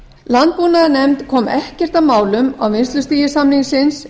landbúnaðarnefnd kom ekkert að málum á vinnslustigi samningsins